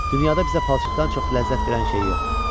Dünyada bizə palçıqdan çox ləzzət verən şey yoxdur.